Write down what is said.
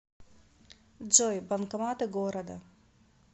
джой банкоматы города